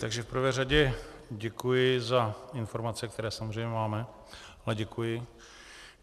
Takže v prvé řadě děkuji za informace, které samozřejmě máme, ale děkuji.